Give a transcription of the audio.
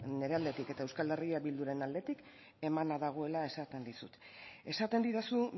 nire aldetik eta euskal herria bilduren aldetik emana dagoela esaten dizut esaten didazu